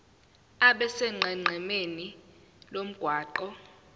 abe sonqenqemeni lomgwaqo